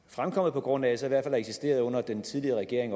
fremkommet på grund af så i hvert fald har eksisteret under den tidligere regering